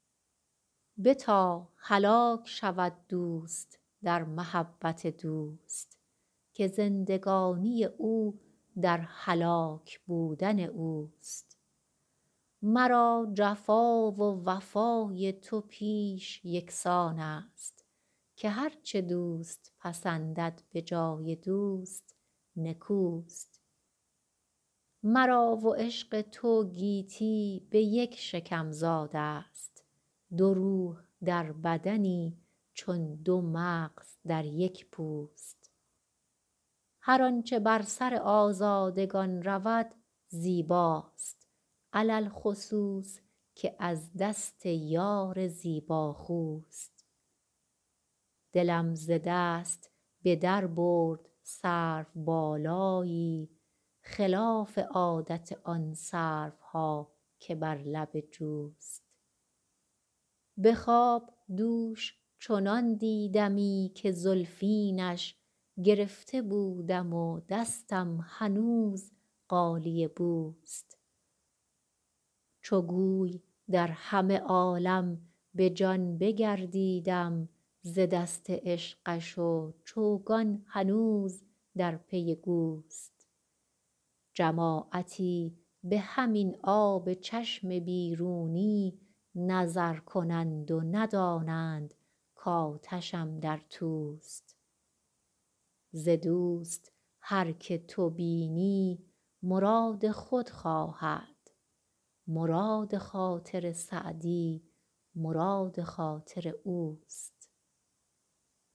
بتا هلاک شود دوست در محبت دوست که زندگانی او در هلاک بودن اوست مرا جفا و وفای تو پیش یکسان است که هر چه دوست پسندد به جای دوست نکوست مرا و عشق تو گیتی به یک شکم زاده ست دو روح در بدنی چون دو مغز در یک پوست هر آنچه بر سر آزادگان رود زیباست علی الخصوص که از دست یار زیباخوست دلم ز دست به در برد سروبالایی خلاف عادت آن سروها که بر لب جوست به خواب دوش چنان دیدمی که زلفینش گرفته بودم و دستم هنوز غالیه بوست چو گوی در همه عالم به جان بگردیدم ز دست عشقش و چوگان هنوز در پی گوست جماعتی به همین آب چشم بیرونی نظر کنند و ندانند کآتشم در توست ز دوست هر که تو بینی مراد خود خواهد مراد خاطر سعدی مراد خاطر اوست